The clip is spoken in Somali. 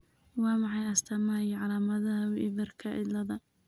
Waa maxay astamaha iyo calaamadaha Weaverka ciladha?